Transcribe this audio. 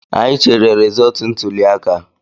Anyị chere resọọtu ntụliaka